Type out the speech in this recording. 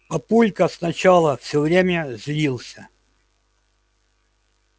папулька сначала всё время злился